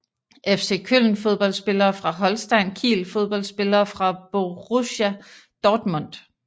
FC Köln Fodboldspillere fra Holstein Kiel Fodboldspillere fra Borussia Dortmund